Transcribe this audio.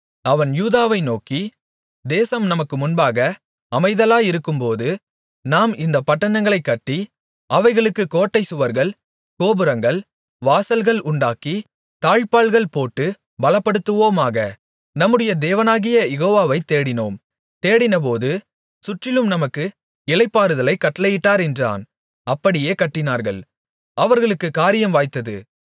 அவன் யூதாவை நோக்கி தேசம் நமக்கு முன்பாக அமைதலாயிருக்கும்போது நாம் இந்தப் பட்டணங்களைக் கட்டி அவைகளுக்கு கோட்டைச் சுவர்கள் கோபுரங்கள் வாசல்கள் உண்டாக்கி தாழ்ப்பாள் போட்டுப் பலப்படுத்துவோமாக நம்முடைய தேவனாகிய யெகோவாவை தேடினோம் தேடினபோது சுற்றிலும் நமக்கு இளைப்பாறுதலைக் கட்டளையிட்டார் என்றான் அப்படியே கட்டினார்கள் அவர்களுக்குக் காரியம் வாய்த்தது